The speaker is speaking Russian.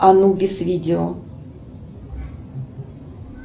анубис видео